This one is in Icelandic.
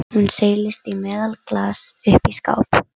Hún seilist í meðalaglas uppi í skáp.